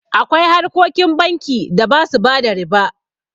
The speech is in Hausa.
Akwai harkokin banki da ba su bada riba.